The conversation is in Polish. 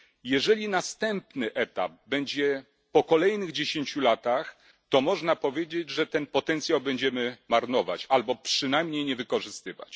Jeżeli następny etap będzie po kolejnych dziesięciu latach, to można powiedzieć, że ten potencjał będziemy marnować albo przynajmniej nie wykorzystywać.